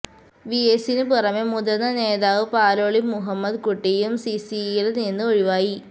V എസിന് പുറമെ മുതിര്ന്ന നേതാവ് പാലോളി മുഹമ്മദ് കുട്ടിയും സി സിയില് നിന്ന് ഒഴിവായി